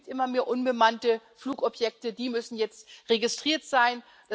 Es gibt immer mehr unbemannte Flugobjekte, die müssen jetzt registriert sein.